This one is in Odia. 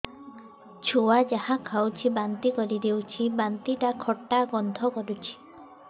ଛୁଆ ଯାହା ଖାଉଛି ବାନ୍ତି କରିଦଉଛି ବାନ୍ତି ଟା ଖଟା ଗନ୍ଧ କରୁଛି